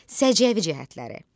Səciyyəvi cəhətləri.